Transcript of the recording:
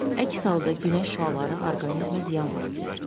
Əks halda günəş şüaları orqanizmə ziyan vura bilər.